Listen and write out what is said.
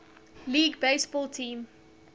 league baseball team